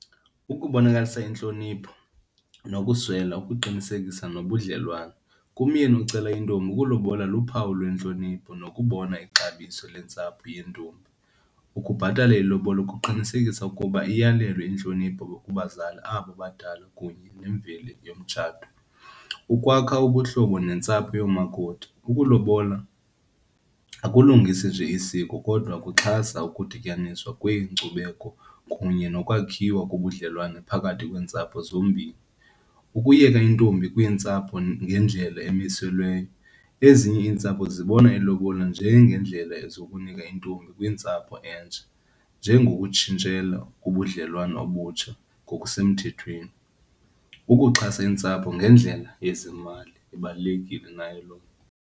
Ukubonakalisa intlonipho nokuswela, ukuqinisekisa nobudlelwane. Kumyeni ocela intombi ukulobola luphawu lwentlonipho nokubona ixabiso lentsapho yentombi. Ukubhatala ilobola kuqinisekisa ukuba iyalelwe intlonipho kubazali abo badala kunye nemveli yomtshato. Ukwakha ubuhlobo neentsapho yoomakoti. Ukulobola akulungisi nje isiko kodwa kuxhasa ukudityaniswa kweenkcubeko kunye nokwakhiwa kobudlelwane phakathi kweentsapho zombini. Ukuyeka intombi kwiintsapho ngendlela emiselweyo. Ezinye iintsapho zibona ilobola njengendlela ezukunika intombi kwiintsapho entsha njengokutshintshela ubudlelwane obutsha ngokusemthethweni. Ukuxhasa iintsapho ngendlela yezemali, ibalulekile nayo loo nto.